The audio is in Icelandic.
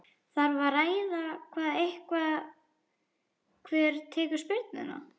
Þarf að ræða það eitthvað hver tekur spyrnuna?